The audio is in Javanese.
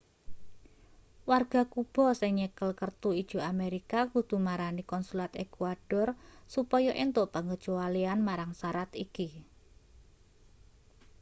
warga kuba sing nyekel kertu ijo amerika kudu marani konsulat ekuador supaya entuk pengecualian marang sarat iki